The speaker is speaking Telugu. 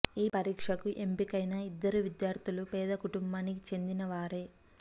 ఈ పరీక్షకు ఎంపికైన ఇద్దరు విద్యార్థులు పేద కుటుంబానికి చెందిన వారే